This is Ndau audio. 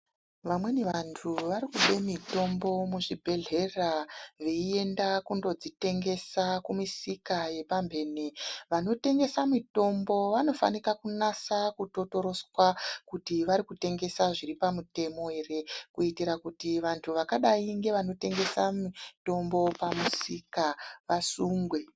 Vamweni vantu varikube mitombo muzvibhehlera veienda kundodzitengesa kumisika yepamhene. Vanotengesa mitombo vanofanika kunasa kutotoroswa kuti varikutengesa zviri pamutemo ere kuitira kuti vantu vakadai ngevanotengesa mitombo pamusika vasungwe.